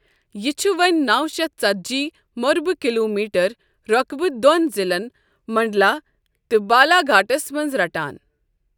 یہِ چھُ وۄنۍ نَو شیتھ ژتجی مربع کلوٗمیٹر رۄقبہٕ دوٚن ضِلعن منڈلا تہٕ بالاگھاٹَس منٛز رَٹان۔